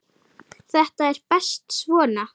Þetta er best svona.